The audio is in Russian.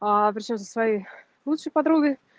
аа при чём со своей лучшей подругой